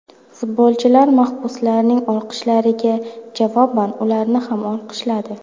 Futbolchilar mahbuslarning olqishlariga javoban ularni ham olqishladi.